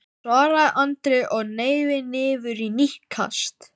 svaraði Andri og hneig niður í nýtt kast.